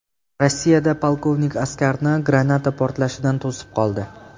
Rossiyada polkovnik askarni granata portlashidan to‘sib qoldi.